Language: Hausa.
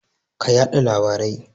Ka yada labarai.